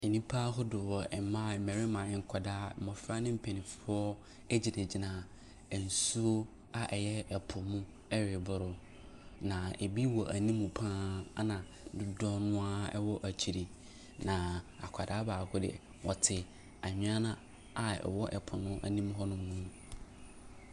Nnipa ahodoɔ; mmaa, mmarima, nkwadaa, mmɔfra ne mpanyinfoɔ egyinagyina nsuo a ɛyɛ ɛpo mu ɛregoro na ebi wɔ anim paa ɛna dodoɔ naa ɛwɔ akyire. Na akwadaa baako deɛ ɔte anwea na a ɛwɔ ɛpɔ no anim hɔ nom.